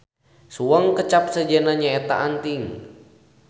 Suweng kecap sejenna nyaeta anting.